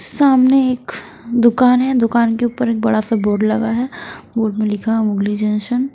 सामने एक दुकान है दुकान के ऊपर एक बड़ा सा बोर्ड लगा है बोर्ड में लिखा है मोगली जंक्शन --